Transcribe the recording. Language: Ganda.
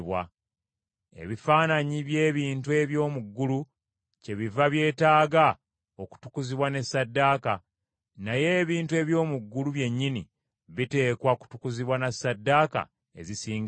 Ebifaananyi by’ebintu eby’omu ggulu kyebiva byetaaga okutukuzibwa ne ssaddaaka, naye ebintu eby’omu ggulu byennyini biteekwa kutukuzibwa na ssaddaaka ezisinga ezo.